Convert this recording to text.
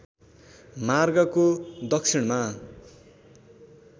मार्गको दक्षिणमा